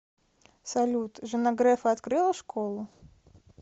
салют жена грефа открыла школу